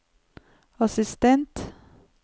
assistent